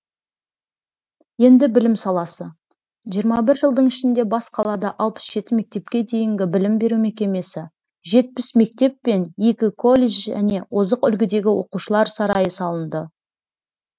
енді білім саласы жиырма жылдың ішінде бас қалада алпыс жеті мектепке дейінгі білім беру мекемесі жетпіс мектеп пен екі колледж және озық үлгідегі оқушылар сарайы салынды